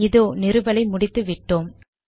இதோ நிறுவலை முடித்து விட்டோம்